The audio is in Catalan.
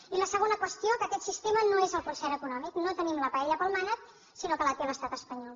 i la segona qüestió que aquest sistema no és el concert econòmic no tenim la paella pel mànec sinó que la té l’estat espanyol